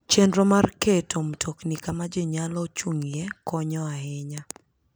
Chenro mag keto mtokni kama ji nyalo chung'ie konyo ahinya.